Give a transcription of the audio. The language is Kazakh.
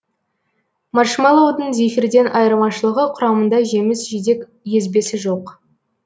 маршмэллоудың зефирден айырмашылығы құрамында жеміс жидек езбесі жоқ